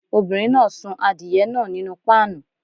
Obìnrin náà sun adìye náà nínú páànù.